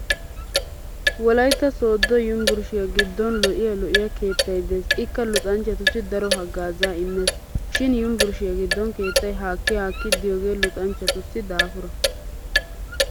Wolaytta sooddo yunvurushiyaa giddon lo'iya lo'iya keettay Des ikka luxanchchatussi daro haggaazaa immes. Shin yunvurushiyaa giddon keettay haakki haakki diyoogee lexanchatussi daafura.